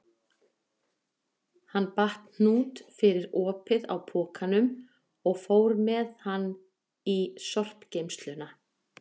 Hann batt hnút fyrir opið á pokanum og fór með hann í sorpgeymsluna.